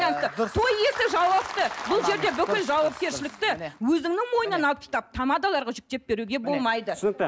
і дұрыс той иесі жауапты бұл жерде бүкіл жауапкершілікті өзіңнің мойнынан алып тастап тамадаларға жүктеп беруге болмайды түсінікті